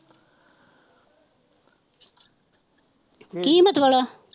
ਕੀ ਮਤਲਬ